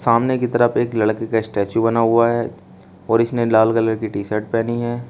सामने की तरफ एक लड़के का स्टेचू बना हुआ है और इसने लाल कलर की टी शर्ट पहनी है।